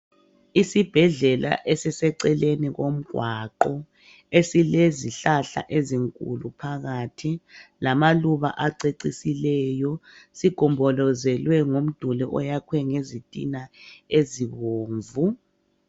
Isibhedlela esiseceleni komgwaqo esilezihlahla ezinkulu phakathi lamaluba acecisileyo sigombolozelwe ngumduli oyakhwe ngezitina ezibomvu.